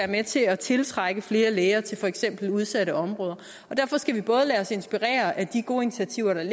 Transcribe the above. med til at tiltrække flere læger til for eksempel udsatte områder derfor skal vi både lade os inspirere af de gode initiativer der er